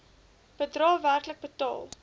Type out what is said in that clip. bedrae werklik betaal